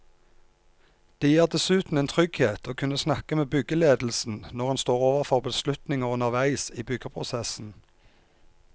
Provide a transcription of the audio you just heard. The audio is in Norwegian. Det gir dessuten en trygghet å kunne snakke med byggeledelsen når en står overfor beslutninger underveis i byggeprosessen.